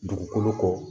Dugukolo ko